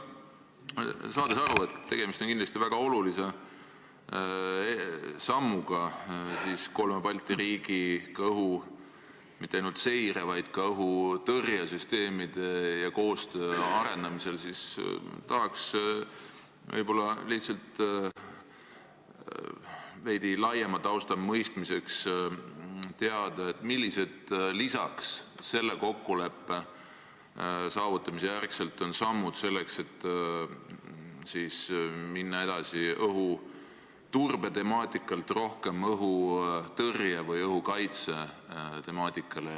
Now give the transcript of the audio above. Saades aru, et tegemist on kindlasti väga olulise sammuga kolme Balti riigi mitte ainult õhuseire-, vaid ka õhutõrjesüsteemide ja koostöö arendamisel, tahaksin võib-olla lihtsalt veidi laiema tausta mõistmiseks teada, millised lisasammud on selle kokkuleppe saavutamise järel kavas, et minna õhuturbe temaatikalt rohkem üle õhutõrje või õhukaitse temaatikale.